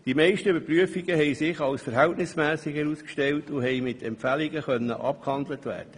Die meisten Überprüfungen stellten die Verhältnismässigkeit fest und konnten mit Empfehlungen abgehandelt werden.